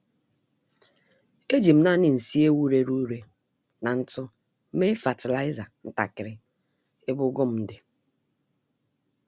Ejim nani nsị ewu rere ure na ntụ mee fatịlaịza ntakiri ebe ugu m di